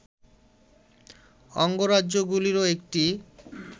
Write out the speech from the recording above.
অঙ্গরাজ্যগুলিরও একটি